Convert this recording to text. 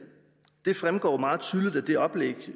fremgår meget tydeligt af det oplæg